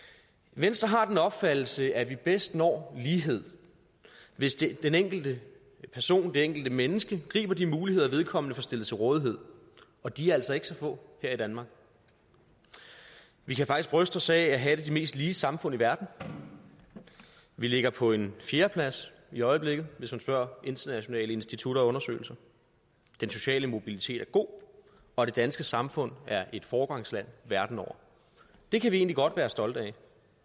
venstre har den opfattelse at vi bedst når lighed hvis den enkelte person det enkelte menneske griber de muligheder vedkommende får stillet til rådighed og de er altså ikke så få her i danmark vi kan faktisk bryste os af at have de mest lige samfund i verden vi ligger på en fjerdeplads i øjeblikket hvis man spørger internationale institutter og undersøgelser den sociale mobilitet er god og det danske samfund er et foregangsland verden over det kan vi egentlig godt være stolte af